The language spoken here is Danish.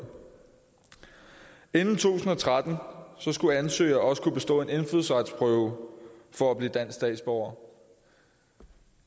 inden to tusind og tretten skulle ansøgere også kunne bestå en indfødsretsprøve for at blive dansk statsborger